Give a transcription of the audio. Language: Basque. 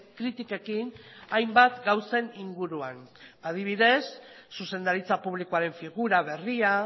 kritikekin hainbat gauzen inguruan adibidez zuzendaritza publikoaren figura berria